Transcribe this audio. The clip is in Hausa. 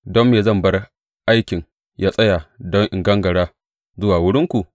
Don me zan bar aikin yă tsaya don in gangara zuwa wurinku?